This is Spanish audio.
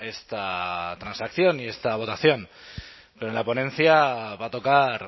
esta transacción y esta votación pero en la ponencia va a tocar